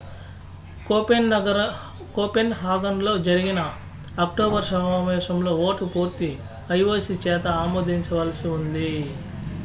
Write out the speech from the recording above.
కోపెన్హాగన్లో జరిగిన అక్టోబర్ సమావేశంలో ఓటు పూర్తి ioc చేత ఆమోదించవలసి ఉంది